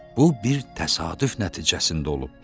Bu bir təsadüf nəticəsində olub.